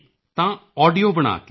ਤਾਂ ਆਡੀਓ ਬਣਾ ਕੇ